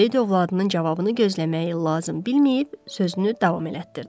Seyid övladının cavabını gözləməyi lazım bilməyib, sözünü davam elətdirdi.